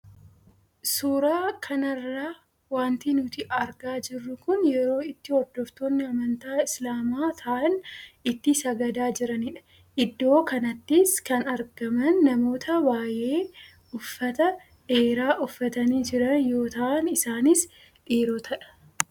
Suura kanarraa waanti nuti argaa jirru kun yeroo itti hordoftoonni amantaa islaamaa tahan itti sagadaa jiranidha. Iddoo kanattis kan argaman namoota baayee uffata dheeraa uffatanii jiran yoo tahan isaaniis dhiirootadha.